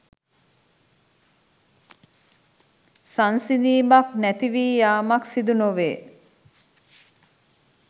සංසිඳීමක් නැති වී යාමක් සිදු නොවේ.